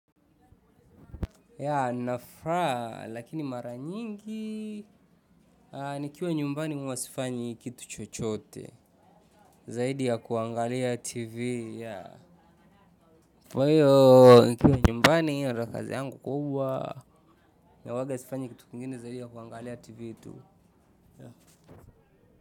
Ya nina furaha lakini mara nyingi nikiwa nyumbani mimi huwa sifanyi kitu chochote zaidi ya kuangalia TV. Nikiwa nyumbani, kazi yangu kubwa na ya pekee haifanyi kitu kingine zaidi ya kuangalia TV tu.